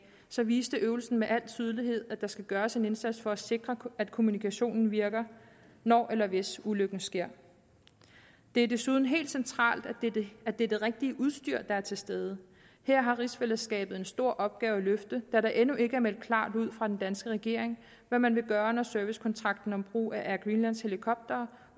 så viste øvelsen med al tydelighed at der skal gøres en indsats for at sikre at kommunikationen virker når eller hvis ulykken sker det er desuden helt centralt at det er det rigtige udstyr der er til stede her har rigsfællesskabet en stor opgave at løfte da der endnu ikke er meldt klart ud fra den danske regering hvad man vil gøre når servicekontrakten om brug af airgreenlands helikoptere